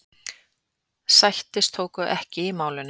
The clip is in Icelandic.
Sættir tókust ekki í málinu.